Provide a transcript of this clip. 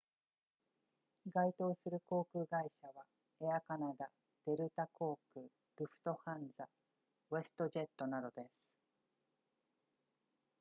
該当する航空会社はエアカナダデルタ航空ルフトハンザウェストジェットなどです